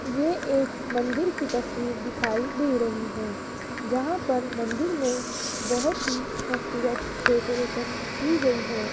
ये एक मंदिर की तस्वीर दिखाई दे रही है जहां पर मंदिर में बहोत ही खूबसूरत डेकोरेशन की गई है।